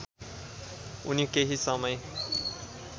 उनी केही समय